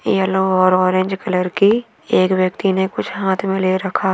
yellow और orange colour की एक व्यक्ति ने कुछ हाथ मे ले रखा--